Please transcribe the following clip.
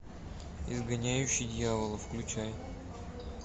изгоняющий дьявола включай